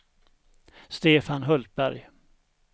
Stefan Hultberg